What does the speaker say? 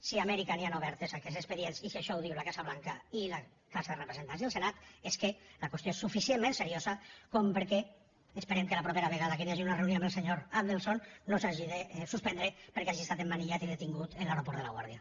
si a amèrica hi han oberts aquests expedients i si això ho diu la casa blanca i la cambra de representants i el senat és que la qüestió és suficient ment seriosa perquè esperem que la propera vegada que hi hagi una reunió amb el senyor adelson no s’hagi de suspendre perquè hagi estat emmanillat i detingut en l’aeroport de laguardia